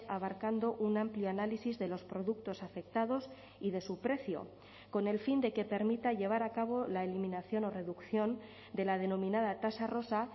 abarcando un amplio análisis de los productos afectados y de su precio con el fin de que permita llevar a cabo la eliminación o reducción de la denominada tasa rosa